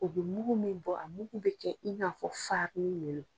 O bɛ mugu min bɔ a mugu bi kɛ, i n'a fɔ le lon.